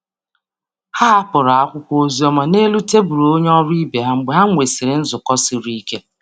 Ha hapụrụ akwụkwọ ozi dị mma n’elu tebụl onye ọrụ ibe ha mgbe nzukọ mgbe nzukọ siri ike gasịrị.